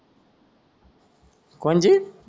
कोणजी